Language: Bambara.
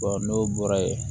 n'o bɔra ye